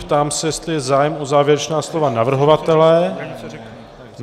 Ptám se, jestli je zájem o závěrečná slova navrhovatele.